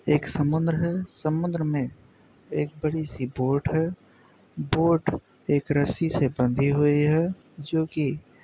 एक समुंदर है। समुद्र में एक बड़ी सी बोट है। बोट एक रस्सी से बंधी हुई है जो कि --